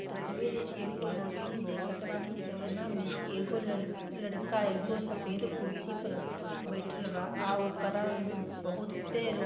तस्वीर एगो रौशनी देखतबानी जवना मे एगो लड़-लड़का एगो सफेद कुर्सी पर बइठल बा आ ओकरा मे बहुते रो --